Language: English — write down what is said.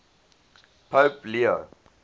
pope leo